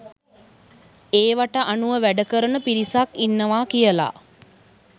ඒව‍ට අනුව වැඩකරන පිරිසක් ඉන්නවා කියලා